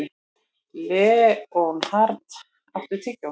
Leonhard, áttu tyggjó?